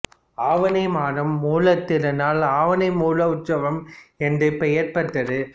ஆவணி மாதம் மூலத் திருநாள் ஆவணி மூலஉற்சவம் என்றே பெயர் பெற்றது